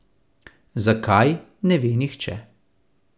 Zakaj, ne ve nihče.